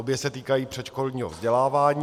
Obě se týkají předškolního vzdělávání.